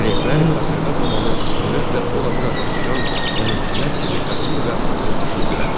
Klerklər qasırğa zamanı sürətlə ora-bura qaçışan dənizçilər kimi qaçır və atılıb düşürdülər.